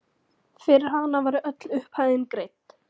Fyrir hana var öll upphæðin greidd.